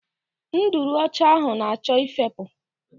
Nduru ọcha ahụ na-achọ ifepu.